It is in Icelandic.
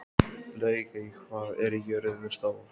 Laugey, hvað er jörðin stór?